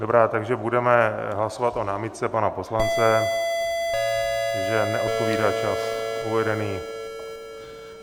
Dobrá, takže budeme hlasovat o námitce pana poslance, že neodpovídá čas uvedený...